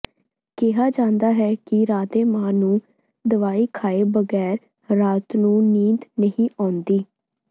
ਕਿਹਾ ਜਾਂਦਾ ਹੈ ਕਿ ਰਾਧੇ ਮਾਂ ਨੂੰ ਦਵਾਈ ਖਾਏ ਬਗੈਰ ਰਾਤ ਨੂੰ ਨੀਂਦ ਨਹੀਂ ਆਉਂਦੀ